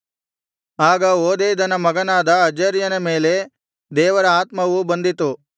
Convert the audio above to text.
ಆಗ ಓದೇದನ ಮಗನಾದ ಅಜರ್ಯನ ಮೇಲೆ ದೇವರ ಆತ್ಮವು ಬಂದಿತು